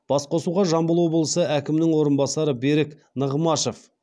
басқосуға жамбыл облысы әкімінің орынбасары берік нығмашев